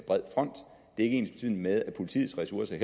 ikke ensbetydende med at politiets ressourcer